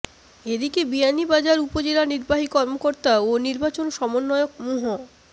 এদিকে বিয়ানীবাজার উপজেলা নির্বাহী কর্মকর্তা ও নির্বাচন সমন্বয়ক মুহ